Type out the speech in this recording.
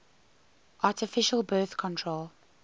artificial birth control